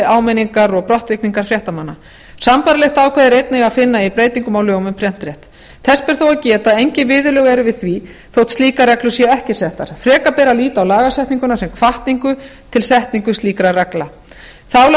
áminningar og brottvikningar fréttamanna sambærilegt ákvæði er einnig að finna í breytingum á lögum um prentrétt þess ber þó að geta að engin viðurlög eru við því þótt slíkar reglur séu ekki settar frekar ber að líta á lagasetninguna sem hvatningu til setningu slíkra reglna þá